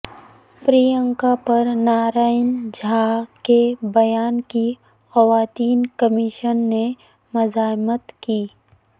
پرینکاپر نارائن جھاکے بیان کی خواتین کمیشن نے مذمت کی